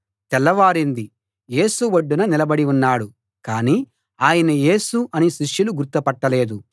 తెల్లవారింది యేసు ఒడ్డున నిలబడి ఉన్నాడు కానీ ఆయన యేసు అని శిష్యులు గుర్తు పట్టలేదు